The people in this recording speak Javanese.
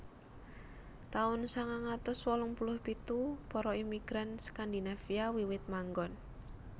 Taun sangang atus wolung puluh pitu Para imigran Skandinavia wiwit manggon